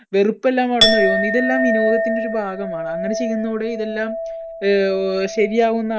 വെറുപ്പെല്ലാം അവിടുന്ന് ഒഴുകുന്നു. ഇതെല്ലാം വിനോദത്തിന്‍ടെ ഒരു ഭാഗമാണ് അങ്ങനെ ചെയ്യുന്നതോടെ ഇതെല്ലാം ആഹ് ഓ ശരിയാകുന്നാ